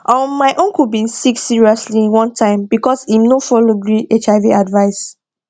um my uncle bin sick seriously one time because im no follow gree hiv advice